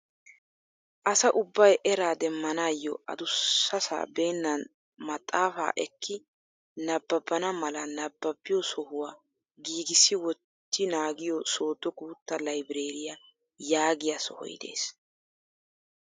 Asa ubbay eraa demmanayoo adussasaa beenan maxafaa ekki nababana mala nababiyoo sohuwaa giigisi wotti naagiyoo sodo guutta laybereriyaa yaagiyaa soohoy de'ees.